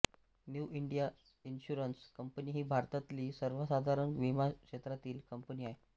new India insurance company ही भारतातली सर्वसाधारण विमा क्षेत्रातील कंपनी आहे